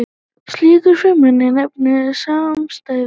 Slíkar frumeindir nefnast samsætur.